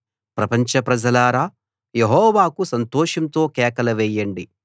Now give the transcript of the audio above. ప్రపంచ ప్రజలారా యెహోవాకు సంతోషంతో కేకలు వేయండి